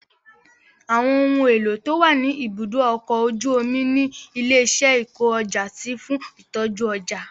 Àwọn ohun èlò to wà ní ibùdó ọkọ̀ ojú omi ni ilé iṣẹ́ ìkó ọjà sí fún ìtọ́jú ọjà